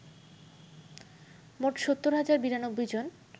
মোট ৭০ হাজার ৯২ জন